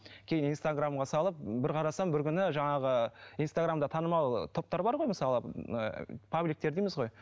кейін инстаграмға салып бір қарасам бір күні жаңағы инстаграмда танымал топтар бар ғой мысалы ыыы пабликтер дейміз ғой